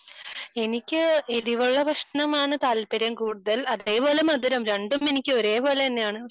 എനിക്ക് എരിവുള്ള ഭക്ഷണമാണ് താല്പര്യം കൂടുതൽ അതേപോലെ മധുരം രണ്ടും എനിക്ക് ഒരേപോലെതന്നെയാണ്